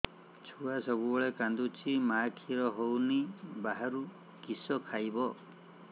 ଛୁଆ ସବୁବେଳେ କାନ୍ଦୁଚି ମା ଖିର ହଉନି ବାହାରୁ କିଷ ଖାଇବ